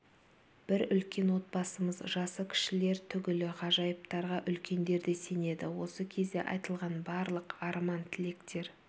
бір үлкен отбасымыз жасы кішілер түгілі ғажайыптарға үлкендер де сенеді осы кезде айтылған барлық арман-тілектер